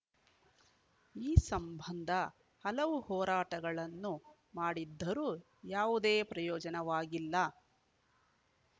ಈ ಸಂಬಂಧ ಹಲವು ಹೋರಾಟಗಳನ್ನು ಮಾಡಿದ್ದರೂ ಯಾವುದೇ ಪ್ರಯೋಜನವಾಗಿಲ್ಲ